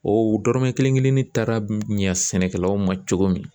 O dɔrɔmɛ kelen kelennin taara ɲɛ sɛnɛkɛlaw ma cogo min na.